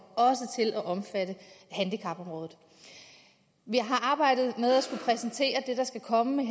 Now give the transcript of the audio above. til også at omfatte handicapområdet vi har arbejdet med at skulle præsentere det der skal komme med